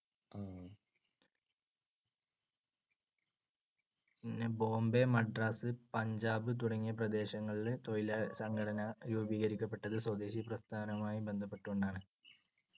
പിന്നെ ബോംബെ, മദ്രാസ്, പഞ്ചാബ് തുടങ്ങിയ പ്രദേശങ്ങളിൽ തൊഴിലാളി സംഘടനകൾ രൂപീകരിക്കപ്പെട്ടത് സ്വദേശി പ്രസ്ഥാനവുമായി ബന്ധപ്പെട്ടുകൊണ്ടാണ്.